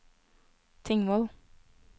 Tingvoll